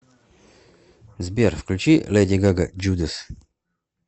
сбер включи леди гага джудас